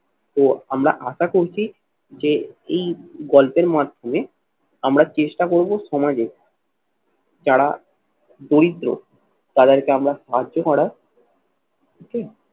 তো আমরা আশা করছি যে এই গল্পের মাধ্যমে আমরা চেষ্টা করবো সমাজে যারা দরিদ্র তাদেরকে আমরা সাহায্য করা